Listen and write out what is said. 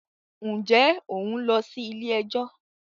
ǹjẹ́ ò ń lọ sí “ilé ẹjọ́ ”?